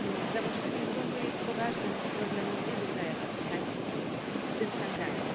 Zawłaszczanie gruntu jest poważnym problemem w wielu krajach afrykańskich, w tym w Tanzanii.